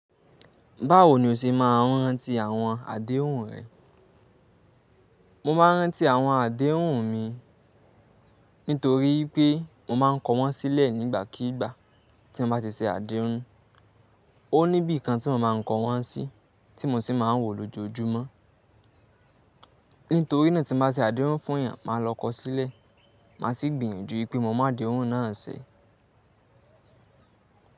Báwo ni o ṣe máa ń rántí àwọn àdéhùn rẹ? Mo máa ń rántí àwọn àdéhùn mi nítorí wipé mo máa ń kọ wọ́n sílẹ̀ nígbàkíigbà tí n bá ti ṣe àdéhùn. Ó ní ibi kan tí mo máa ń kọ wọ́n sí, tí mo sì máa ń wò lójoojúmọ́. Nítorí náà tí n bá ṣe àdéhùn fún èèyàn, màá lọ kó sílẹ̀, màá sì gbìyànjú pé mo mu adéhùn náà ṣe.